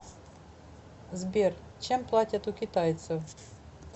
сбер чем платят у китайцев